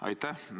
Aitäh!